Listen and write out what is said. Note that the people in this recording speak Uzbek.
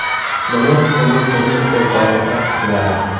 Buni uning turmush o‘rtog‘i tasdiqladi .